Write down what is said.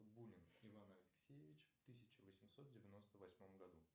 бунин иван алексеевич в тысяча восемьсот девяносто восьмом году